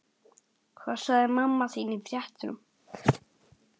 Hvað sagði mamma þín í fréttum?